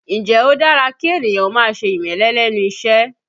Ǹjẹ́ ó dára kí ènìyàn ó máa ṣe ìmẹ́lẹ́ lẹ́nu iṣẹ́?